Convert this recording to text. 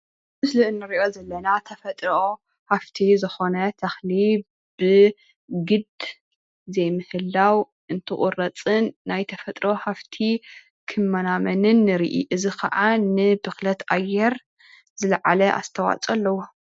እዚ እንሪኦ ዘለና ተፈጥሮ ሃፍቲ ዝኮነ ተኽሊ ብግዲ ዘይምሕላው እንትቑረፅን ናይ ተፈጥሮ ሃፍቲ ክመናመንን ንርኢ፡፡ እዚ ከዓ ንብክለት ኣየር ዝለዓለ ኣስተዋፅኦ ኣለዎ፡፡